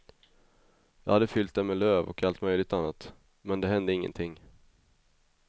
Jag hade fyllt den med löv och allt möjligt annat, men det hände ingenting.